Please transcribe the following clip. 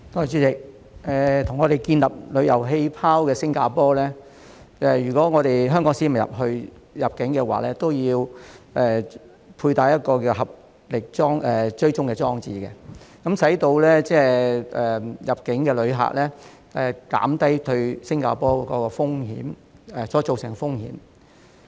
主席，與香港建立旅遊氣泡的新加坡要求，香港市民如要入境，便要安裝名為"合力追蹤"的手機應用程式，以減低入境旅客對新加坡造成的風險。